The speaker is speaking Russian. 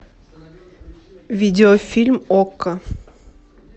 видеофильм окко